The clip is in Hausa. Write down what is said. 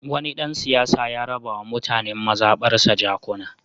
Wani ɗan siyasa ya raba wa mutanen mazaɓarsa jakuna.